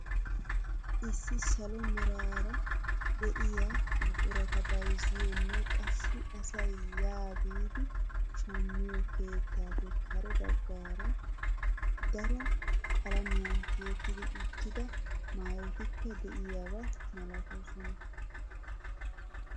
Issi salo meraara de'iyaa buqurata bayzziyoonne qassi asay yaa biidi shammiyoo keettappe kare bagaara daro qalamiyaan tiyetti uttida maayotikka de'iyaaba milatoosona.